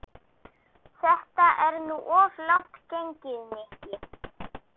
Þetta er nú of langt gengið, Nikki.